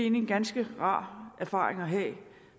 en ganske rar erfaring at have